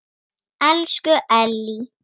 Elsku Ellý.